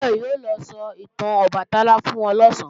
Báyọ̀ o lọ sọ ìtàn Ọbàtálá fún wọn lọ̀sán